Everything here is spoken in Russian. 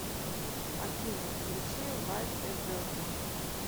афина включи лайк э верджин